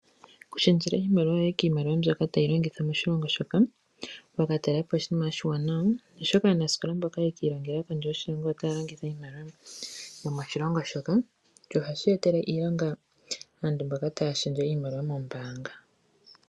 Oku shendjela iimaliwa yoye kiimaliwa mbyoka ta yi longithwa moshilongo shoka, wa ka talela po oshinima oshiwanawa, oshoka aanasikola mboka ye ki i longele kondje yoshilongo otaya longitha iimaliwa yomoshilongo shoka sho ohashi e tele iilonga aantu mboka taya shendje iimaliwa mombaanga.